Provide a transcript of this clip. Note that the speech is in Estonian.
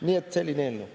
Nii et selline eelnõu.